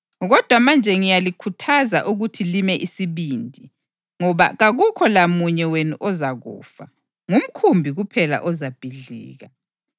Kodwa manje ngiyalikhuthaza ukuthi lime isibindi, ngoba kakukho lamunye wenu ozakufa; ngumkhumbi kuphela ozabhidlika.